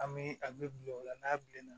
An bɛ a bɛ bilen o la n'a bilenna